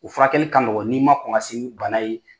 U furakɛli ka nɔgɔ n'i ma kɔn ka se ni bana ye.